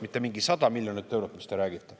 Mitte mingi 100 miljonit eurot, millest te räägite.